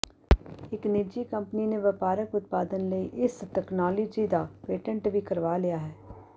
ਇਕ ਨਿੱਜੀ ਕੰਪਨੀ ਨੇ ਵਪਾਰਕ ਉਤਪਾਦਨ ਲਈ ਇਸ ਤਕਨਾਲੋਜੀ ਦਾ ਪੇਟੈਂਟ ਵੀ ਕਰਵਾ ਲਿਆ ਹੈ